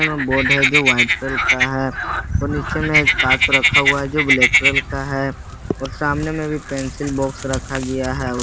इसमें बोर्ड है जो वाइट कलर का है और नीचे में काट रखा हुआ है जो ब्लैक कलर का है और सामने में भी पेंसिल बॉक्स रखा गया है।